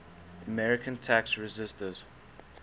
american tax resisters